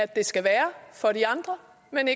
man